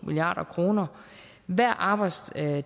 milliard kroner hver arbejdstager